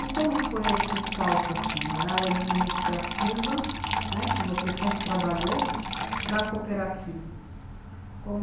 E como foi esse salto da área administrativa, né, que você sempre trabalhou, para a cooperativa?